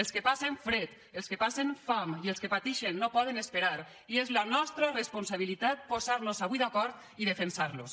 els que passen fred els que passen fam i els que patixen no poden esperar i és la nostra responsabilitat posarnos avui d’acord i defensarlos